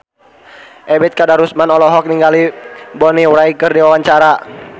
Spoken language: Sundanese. Ebet Kadarusman olohok ningali Bonnie Wright keur diwawancara